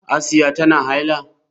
Asiya tana haila?